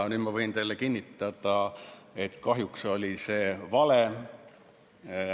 Nüüd võin ma teile kinnitada, et kahjuks oli see vale.